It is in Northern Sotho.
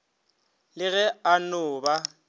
le ge a no ba